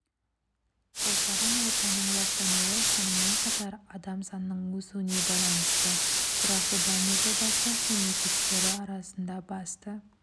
қоршаған ортаның ластануы сонымен қатар адам санының өсуіне байланысты тұрақты даму жобасы мемлекеттері арасында басты